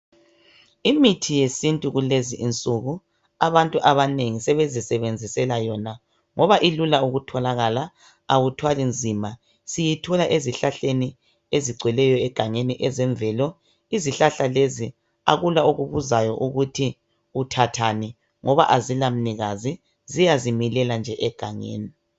Imithi yesintu kulezi insuku abantu abanengi sebezi sebenzisela yona ngoba ilula ukutholakala awuthwali nzima siyithola ezihlahleni ezigcweleyo egangeni ezemvelo. Izihlahla lezi akula okubuzayo ukuthi uthathani ngoba azila mnikazi ziyazimilela nje egangeni.